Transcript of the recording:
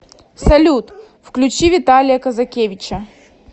салют включи виталия казакевича